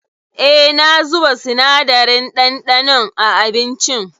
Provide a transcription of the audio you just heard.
Eh, na zuba sinadarin ɗanɗanon a abincin.